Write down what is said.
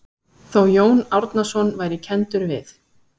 Þó Jón Árnason væri kenndur við